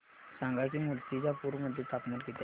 सांगा की मुर्तिजापूर मध्ये तापमान किती आहे